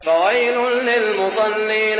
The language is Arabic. فَوَيْلٌ لِّلْمُصَلِّينَ